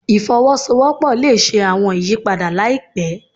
Ifowosowopo le ṣe awọn iyipada laipẹ